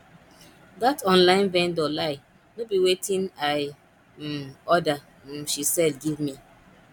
that online vendor lie no be wetin i um order um she sell give me